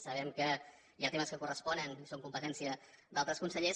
sabem que hi ha temes que corresponen que són competència d’altres consellers